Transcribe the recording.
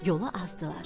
Yolu azdılar.